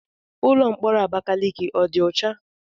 Ụlọ mkpọrọ Abakaliki ọ dị ọcha?